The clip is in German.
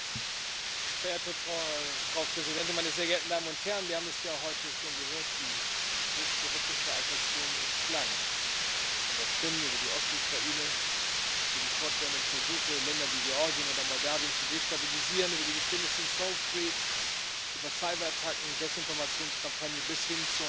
Frau Präsidentin, meine sehr geehrten Damen und Herren! Wir haben es ja heute schon gehört, die Liste russischer Aggression ist lang von der Krim über die Ostukraine, über die fortwährenden Versuche, Länder wie Georgien oder Moldawien zu destabilisieren, über die Geschehnisse in Salisbury, über Cyberattacken, Desinformationskampagnen bis hin zur Unterstützung des barbarischen